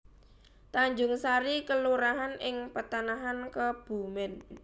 Tanjungsari kelurahan ing Petanahan Kebumèn